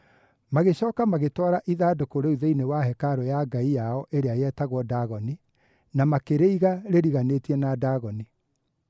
Magĩcooka magĩtwara ithandũkũ rĩu thĩinĩ wa hekarũ ya ngai yao ĩrĩa yetagwo Dagoni, na makĩrĩiga rĩriganĩtie na Dagoni.